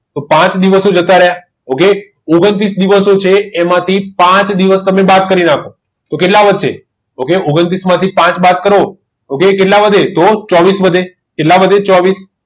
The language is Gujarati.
પાંચ દિવસ જતા રહ્યા okay ઓગન્તૃસ દિવસો જે એમાંથી પાંચ દિવસ દિવસ બાદ કરી નાખો તો કેટલા વધશે ઓગ્ન્તૃસ માંથી પાંચ બાદ કરો okay કેટલા વધે તો ચોવીસ વધે કેટલા વધે ચોવીસ